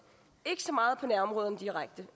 ikke så meget direkte